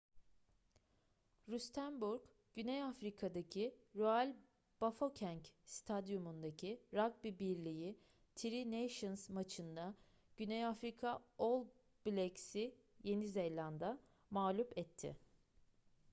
rustenburg güney afrika'daki royal bafokeng stadyumundaki ragbi birliği tri nations maçında güney afrika all blacks'i yeni zelanda mağlub etti